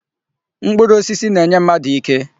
Mkpụrụ osisi na-enye mmadụ ike.